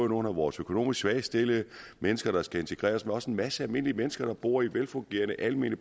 nogle af vores økonomisk svagt stillede mennesker der skal integreres men også en masse almindelige mennesker der bor i velfungerende almene